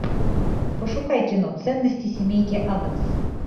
пошукай кино ценности семейки адамс